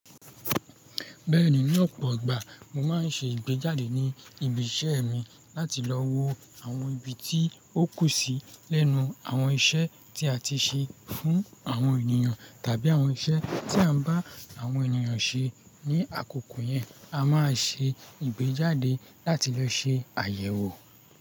Bẹ́ẹ̀ni ní ọ̀pọ̀ igbà, mo máa ń ṣe ìgbéjáde ní ibi iṣẹ́ mi láti lọ wo àwọn ibi tí ó kù sí lẹ́nu àwọn iṣẹ́ tí a ti ṣe fún àwọn ènìyàn tàbí àwọn iṣẹ́ tí à ń bá àwọn ènìyàn ṣe ní àkókò yẹn, a máa ṣe ìgbéjáde láti lọ ṣe àyẹ̀wò.